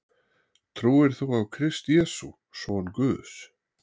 Trúir þú á Krist Jesú, son Guðs,